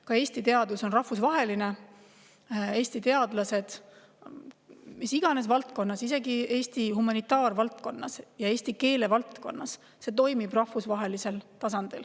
Ka Eesti teadus on rahvusvaheline, Eesti teadlased, mis iganes valdkonnas, isegi Eesti humanitaarvaldkonnas ja eesti keele valdkonnas, toimetavad rahvusvahelisel tasandil.